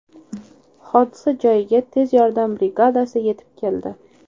Hodisa joyiga tez yordam brigadasi yetib keldi.